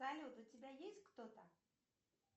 салют у тебя есть кто то